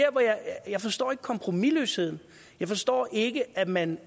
jeg forstår ikke kompromisløsheden jeg forstår ikke at man